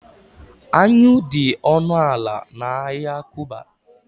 anyụ dị ọnụ ala na ahịa kuba